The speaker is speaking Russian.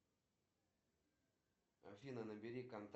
триполье это часть чего